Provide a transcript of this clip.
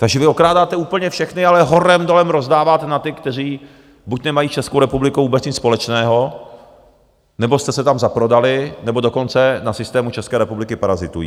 Takže vy okrádáte úplně všechny, ale horem dolem rozdáváte na ty, kteří buď nemají s Českou republikou vůbec nic společného, nebo jste se tam zaprodali, nebo dokonce na systému České republiky parazitují.